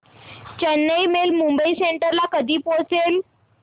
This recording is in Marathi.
चेन्नई मेल मुंबई सेंट्रल ला कधी पोहचेल